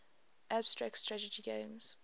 abstract strategy games